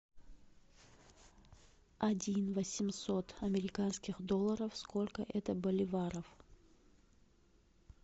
один восемьсот американских долларов сколько это боливаров